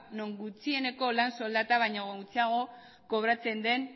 non gutxieneko lan soldata baino gutxiago kobratzen den